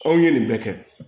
Aw ye nin bɛɛ kɛ